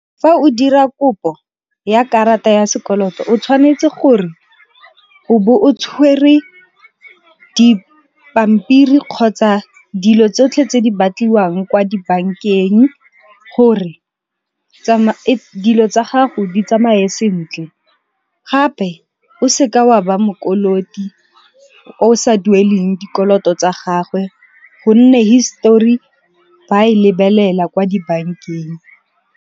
Fa o dira kopo ya karata ya sekoloto o tshwanetse gore o bo o tshwere dipampiri kgotsa dilo tsotlhe tse di batliwang kwa dibankeng gore, dilo tsa gago di tsamae sentle. Gape o se ka wa ba mo koloti o sa dueleng dikoloto tsa gagwe gonne hisetori ba e lebelela kwa dibankeng.